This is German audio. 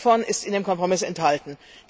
Nichts davon ist in dem Kompromiss enthalten.